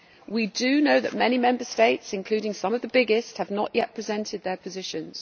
We do know that many Member States, including some of the biggest, have not yet presented their positions.